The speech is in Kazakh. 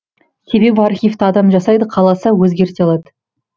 себебі архивті адам жасайды қаласа өзгерте алады